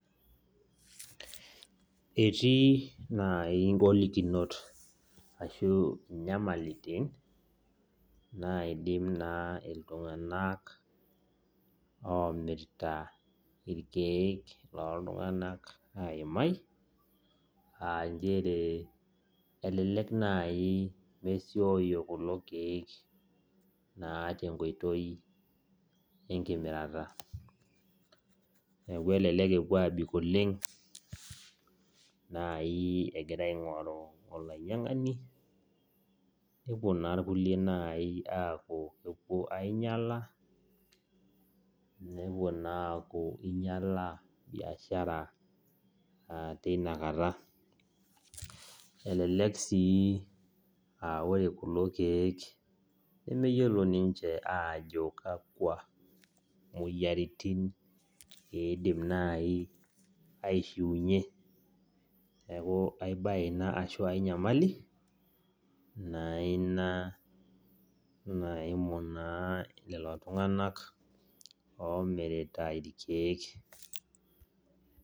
Etii naai ingolikinot ashu inyamalitin naidim naa iltunganak omirta ilkeek loo tunganak aimai aa njere, elelek naai ejoyio kulo keek tenkoito naai enkimirata. Neeku elelek epuo aabik oleng',naai egirai ainkoru olanyiankani ,nepuo naa nai kulie aapuo ainyiala, nepuo naaku inyiala biashara tinakata. Elelek sii aa ore kulo keek nemeyiolo ninje aajo kakua moyiaritin iidim naai aishiunyie. Neeku ai bae ina ashu enkae nyamali naa ina naimu naa lelo tunganak omirita ilkeek.